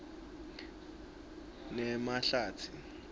nemahlatsi